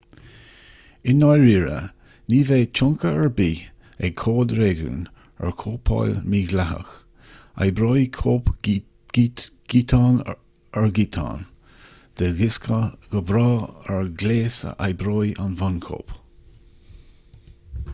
i ndáiríre ní bheidh tionchar ar bith ag cóid réigiúin ar chóipeáil mhídhleathach oibreoidh cóip giotán ar ghiotán de dhiosca go breá ar ghléas a oibreoidh an bhunchóip